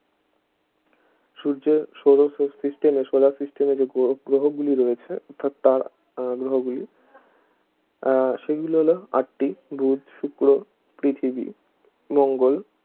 সূর্যে সৌর sys~ system এ solar system এ যে গ্রহ গ্রহগুলি রয়েছে অর্থাৎ তার গ্রহগুলি আহ সেগুলো হলো আটটি বুধ শুক্র পৃথিবী মঙ্গল